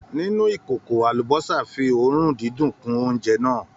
Nínú ìkòkò, àlúbósà fí òórùn dídùn kun óúnjẹ náà.